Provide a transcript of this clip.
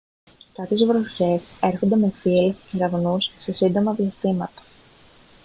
κάποιες βροχές έρχονται με θύελλες και κεραυνούς σε σύντομα διαστήματα